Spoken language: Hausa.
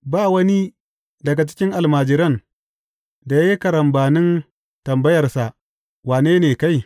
Ba wani daga cikin almajiran da ya yi karambanin tambayarsa, Wane ne kai?